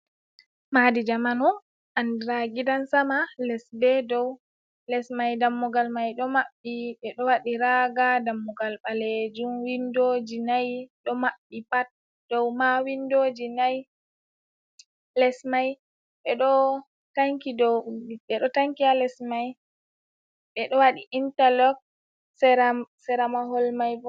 Maɗi jamanu anɗira gidan sama les be doum. Les mai ɗammugal mai do mabbi be ɗo wadi raga. Ɗammugal balejum winɗoji nai ɗo mabbi pat. dou ma winɗoji nai. Les mai be ɗo tanki ha les mai beɗo waɗi intalok sera mahol maibo.